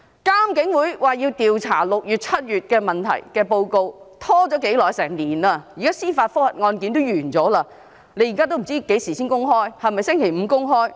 監警會調查6月、7月所發生的問題的報告，拖延了1年，司法覆核的案件也完結了，現在仍未知何時會公開，是否將於星期五公開？